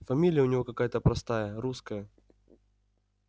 фамилия у него какая-то простая русская